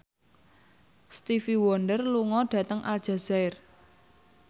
Stevie Wonder lunga dhateng Aljazair